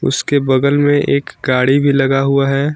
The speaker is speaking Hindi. उसके बगल में एक गाड़ी भी लगा हुआ है।